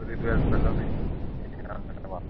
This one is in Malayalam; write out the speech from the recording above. ഒരു ഇത് വരണ്ടല്ലോ എന്ന് വെച്ച്